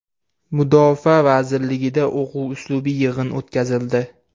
Mudofaa vazirligida o‘quv-uslubiy yig‘in o‘tkazildi .